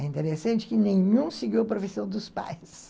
É interessante que nenhum seguiu a profissão dos pais.